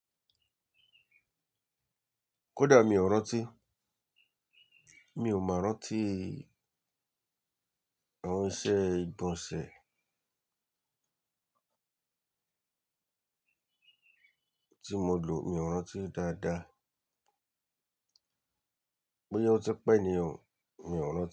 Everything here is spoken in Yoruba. Kódà mi ò rántí, mi ò mọ rántí àwọn iṣẹ́ ìgbọ̀nsẹ̀ tí mo lò, mi ò rántí dáadáa. Bóyá ó ti pẹ́ ni o, mi ò rántí.